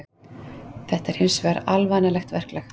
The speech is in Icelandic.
Þetta sé hins vegar alvanalegt verklag